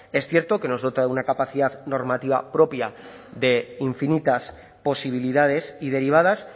es cierto que nos dota de una capacidad normativa propia de infinitas posibilidades y derivadas